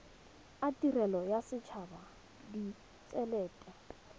a tirelo a setshaba ditshelete